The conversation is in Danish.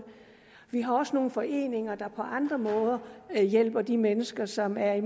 vi har også nogle foreninger der på andre måder hjælper de mennesker som er i